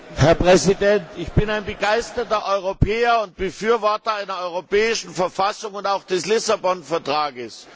Herr Präsident! Ich bin ein begeisterter Europäer und Befürworter einer europäischen Verfassung und auch des Lissabon Vertrages.